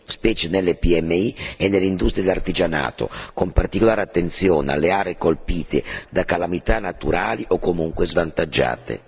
specie per le PMI e le industrie dell'artigianato, con particolare attenzione alle aree colpite da calamità naturali o comunque svantaggiate.